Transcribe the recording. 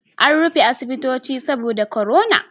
An rufe asibitoci saboda korona